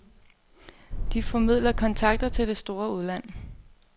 De formidler kontakter til det store udland.